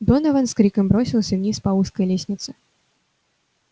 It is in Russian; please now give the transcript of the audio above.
донован с криком бросился вниз по узкой лестнице